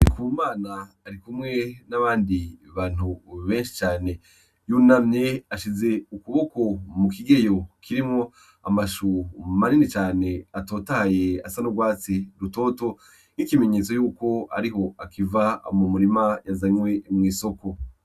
Ndikumana arikumwe n'abandi bantu benshi cane. Yunamye ashize ukuboko mu kigeyo kirimwo amashu manini cane atotahaye asa n'urwatsi rutoto nk'ikimenyetso yuko ariho akiva mu murima azanwe mw'isoko.